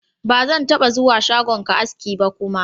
Ba zan taɓa zuwa shagonka aski ba kuma.